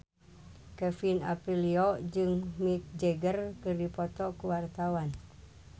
Kevin Aprilio jeung Mick Jagger keur dipoto ku wartawan